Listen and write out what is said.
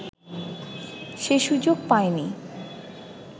সেই সুযোগ পায়নি